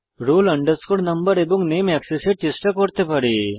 roll no এবং নামে এক্সেসের চেষ্টা করতে পারে